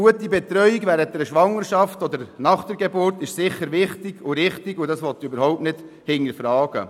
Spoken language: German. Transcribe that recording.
Eine gute Betreuung während der Schwangerschaft oder nach der Geburt ist sicher wichtig und richtig, das will ich überhaupt nicht hinterfragen.